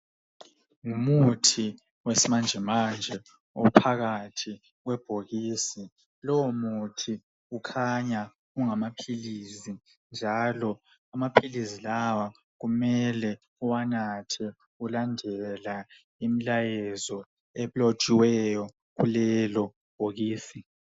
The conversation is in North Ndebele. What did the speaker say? Ngumuthi wesmanjemanje ophakathi kwebhokisi. Lowo muthi kukhanya kungamaphilisi njalo amaphilizi lawa kumele uwanathe ulandela imlayezo elotshiweyo kulelo bhokisi.